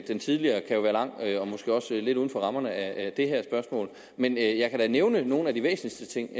den tidligere kan jo være lang og måske også lidt uden for rammerne af det her spørgsmål men jeg kan da nævne nogle af de væsentligste ting